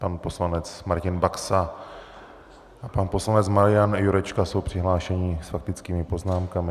Pan poslanec Martin Baxa a pan poslanec Marian Jurečka jsou přihlášeni s faktickými poznámkami.